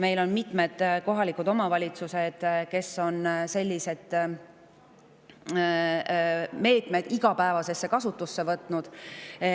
Meil on mitmed kohalikud omavalitsused, kes on sellised meetmed igapäevasesse kasutusse võtnud.